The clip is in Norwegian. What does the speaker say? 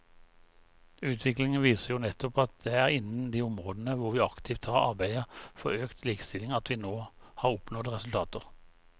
Utviklingen viser jo nettopp at det er innen de områder hvor vi aktivt har arbeidet for økt likestilling at vi har oppnådd resultater.